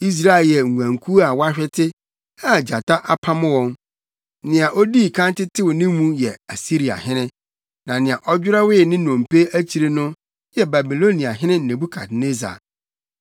“Israel yɛ nguankuw a wɔahwete a gyata apam wɔn. Nea odii kan tetew ne mu yɛ Asiriahene; na nea ɔdwerɛwee ne nnompe akyiri no yɛ Babiloniahene Nebukadnessar.”